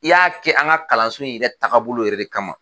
I ya kɛ an ka kalanso in yɛrɛ taabolo yɛrɛ de kama.